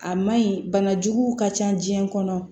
A man ɲi bana juguw ka ca biɲɛ kɔnɔ